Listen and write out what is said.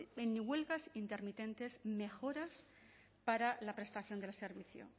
en huelgas intermitentes mejoras para la prestación del servicio